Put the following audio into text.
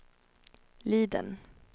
Liden